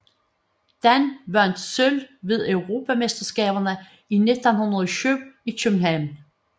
Dan vandt sølv ved Europamesterskaberne i 1907 i København